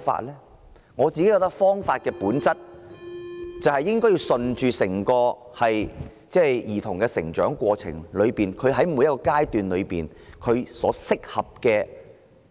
以我之見，方法是順應兒童的成長過程，根據每個階段適合他